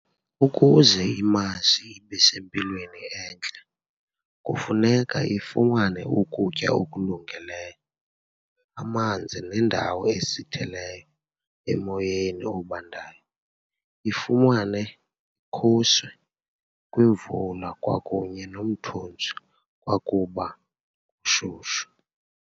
Ukuze imazi ibe sempilweni entle, kufuneka ifumane ukutya okulungileyo, amanzi nendawo esithileyo emoyeni obandayo, ifumane khuse kwimvula kwakunye nomthunzi kwakuba kushushu.